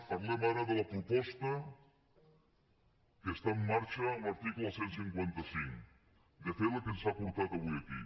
parlem ara de la proposta que està en marxa amb l’article cent i cinquanta cinc de fet la que ens ha portat avui aquí